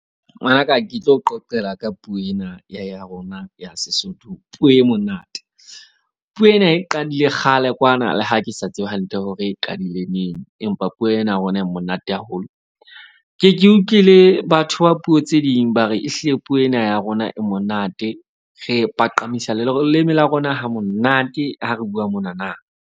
Ngwanaka ke tlo qoqela ka puo ena ya rona ya Sesotho. Ke puo e monate. Puo ena e qadile kgale kwana le ha ke sa tsebe hantle hore e qadile neng, empa puo ena ya rona ena e monate haholo. Ke ke utlwile batho ba puo tse ding ba re ehlile puo ena ya rona e monate. Re paqamisa leleme la rona ha monate. Ha re bua mona na.